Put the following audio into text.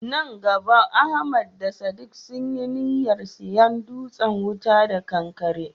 Nan gaba Ahmad da Sadiq sun yi niyyar siyan dutsen wuta da kankare.